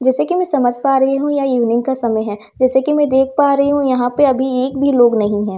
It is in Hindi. जैसे कि मैं समझ पा रही हूं ये इवनिंग का समय है जैसे कि मैं देख पा रही हूं यहां पे अभी एक भी लोग नहीं है।